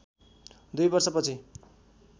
दुई वर्षपछि